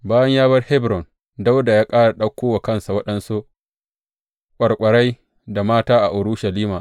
Bayan ya bar Hebron, Dawuda ya ƙara ɗauko wa kansa waɗansu ƙwarƙwarai da mata a Urushalima.